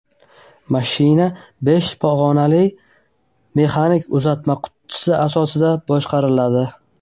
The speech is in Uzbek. Mashina besh pog‘onali mexanik uzatmalar qutisi yordamida boshqariladi.